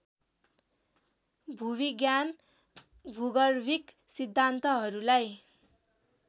भूविज्ञान भूगर्भिक सिद्धान्तहरूलाई